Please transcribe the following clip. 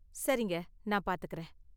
சரிங்க, நான் பாத்துக்கறேன்.